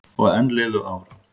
Og enn liðu ár.